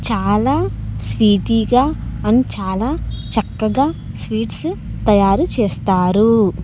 చాలా స్వీటీగా అండ్ చాలా చక్కగా స్వీట్స్ తయారు చేస్తారు.